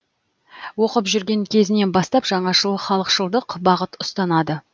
оқып жүрген кезінен бастап жаңашыл халықшылдық бағыт ұстанады